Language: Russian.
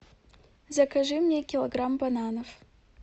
закажи мне килограмм бананов